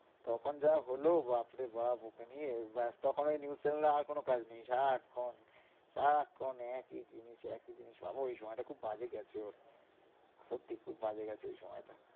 তখন যা হলো বাপরে বাপ ওকে নিয়ে, ব্যাস তখন ওই news channel এর আর কোনো কাজ নেই, সারাক্ষন সারাক্ষন একই জিনিস একই জিনিস, বাবা ওই সময়টা খুব বাজে গেছে ওর সত্যিই খুব বাজে গেছে ওই সময়টা।